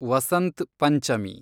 Vasant Panchami